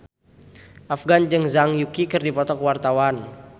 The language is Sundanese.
Afgan jeung Zhang Yuqi keur dipoto ku wartawan